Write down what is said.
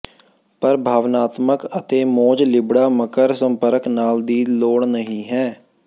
ਪਰ ਭਾਵਨਾਤਮਕ ਅਤੇ ਮੌਜ ਲਿਬੜਾ ਮਕਰ ਸੰਪਰਕ ਨਾਲ ਦੀ ਲੋੜ ਨਹੀ ਹੈ